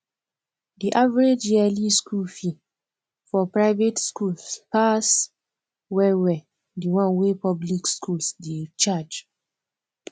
di average yearly school fee for private schools pass well well di one wey public schools dey charge